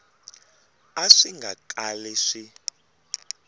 a swi nga kali swi